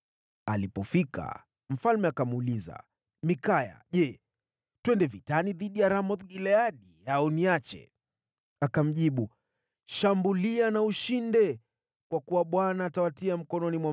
Alipofika, mfalme akamuuliza, “Mikaya, je, twende vitani dhidi ya Ramoth-Gileadi au niache?” Akamjibu, “Shambulia na ushinde, kwa kuwa watatiwa mkononi mwako.”